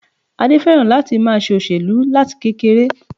Adé féràn láti ma se òṣèlú láti kekere